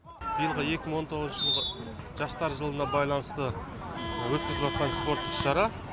биылғы екі мың он тоғызыншы жылғы жастар жылына байланысты спорттық шара